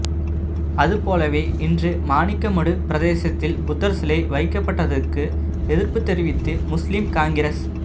அதுபோலவே இன்று மாணிக்கமடு பிரதேசத்தில் புத்தர்சிலை வைக்கப்பட்டதுக்கு எதிர்ப்பு தெரிவித்து முஸ்லிம் காங்கிரஸ்